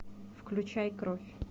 включай кровь